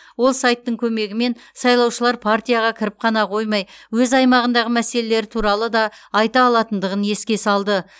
ол сайттың көмегімен сайлаушылар партияға кіріп қана қоймай өз аймағындағы мәселелері туралы да айта алатындығын еске салды